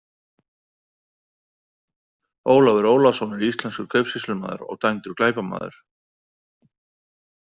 Ólafur Ólafsson er íslenskur kaupsýslumaður og dæmdur glæpamaður.